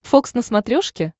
фокс на смотрешке